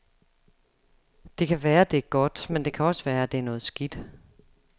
Det kan være, det er godt, men det kan også være, at det er noget skidt.